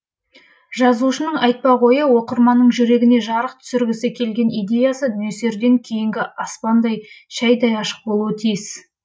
жазушының айтпақ ойы оқырманның жүрегіне жарық түсіргісі келген идеясы нөсерден кейінгі аспандай шәйдай ашық болуы тиіс